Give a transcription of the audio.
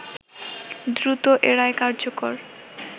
দ্রুত এ রায় কার্যকর